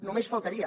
només faltaria